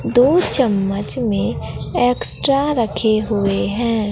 दो चम्मच में एक्स्ट्रा रखे हुए हैं।